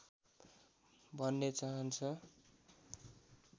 भन्ने चाहन्छ